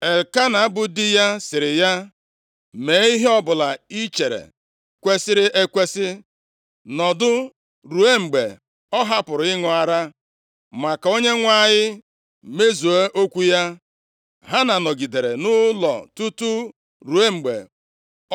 Elkena bụ di ya sịrị ya, “Mee ihe ọbụla i chere kwesiri ekwesi. Nọdụ ruo mgbe ọ hapụrụ ịṅụ ara, ma ka Onyenwe anyị mezuo okwu ya.” Hana nọgidere nʼụlọ tutu ruo mgbe